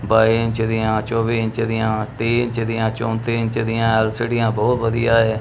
ਬਾਈ inch ਦੀਆਂ ਚੌਵੀ inch ਦੀਆਂ ਤੀਹ ਇੰਚ ਦੀਆਂ ਚੌਂਤੀ ਇੰਚ ਦੀਆਂ ਐਲ_ਸੀ_ਡੀਆਂ ਬਹੁਤ ਵਧੀਆ ਏ।